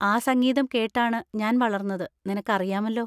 ആ സംഗീതം കേട്ടാണ് ഞാൻ വളർന്നത്, നിനക്കറിയാമല്ലോ.